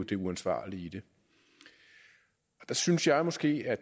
det uansvarlige i det der synes jeg måske at